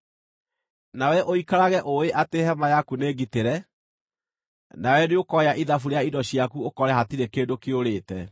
Nawe ũikarage ũũĩ atĩ hema yaku nĩ ngitĩre; nawe nĩũkooya ithabu rĩa indo ciaku ũkore hatirĩ kĩndũ kĩũrĩte.